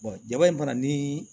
jaba in fana ni